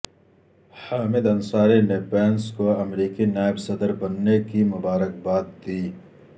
حامد انصاری نے پینس کو امریکی نائب صدر بننے کی مبارکباد دی